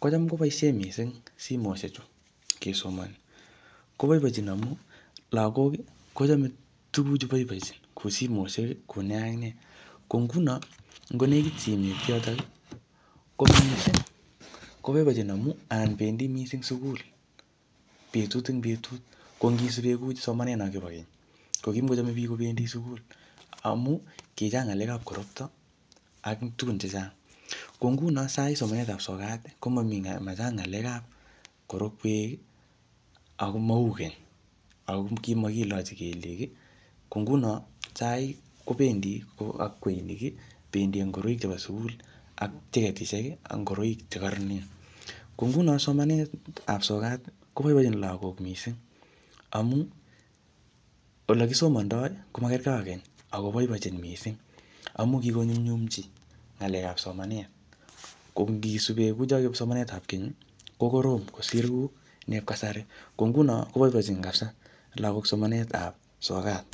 kocham koboisie misising simoshek chu kesomani. Koboibochin amu, lagok, kochame tuguk chu boibochin, kou simoshek, kou ne ak nee. Ko nguno, ngo nekit simet yotok, koboibochin. Koboibochin amuu, anan bendi missing sukul, betut ing betut. Ko ngisupe kuu somanet no kibo keny, ko kimukochmane biik kobendi sugul, amuu kichang ngalek ap korokto, ak tugun chechang. Ko nguno sahii somanet ap sokat, komamii machang ng'alek ap korokwek, ak komau keny. Ako kimakilachi kelyek. Ko nguno sahii, kobendi ak kweinik, bendi ak ngoroik chepo sukul, ak cheketishek, ak ngoroik che kararen. Ko nguno somanet ap sokat, koboibochin lagok missing, amu ole kisomandoi, komakergei ake keny, ako boibochin missing. Amu kikonyumnyumchi ng'alek ap somanet. Ko ngisube kuchoo ngalek kipsomanet ap somanet, ap keny, ko korom kosir kuu ne kasari. Ko nguno, koboibochin lagok kapsaa ngalek ap sokat